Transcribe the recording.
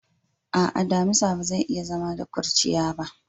A'a, damisa ba zai iya zama da kurciya ba.